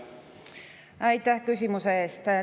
Aitäh küsimuse eest!